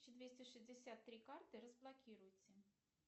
двести шестьдесят три карты разблокируйте